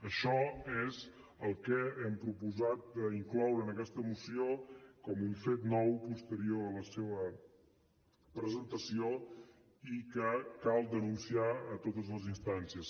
això és el que hem proposat d’incloure en aquesta moció com un fet nou posterior a la seva presentació i que cal denunciar a totes les instàncies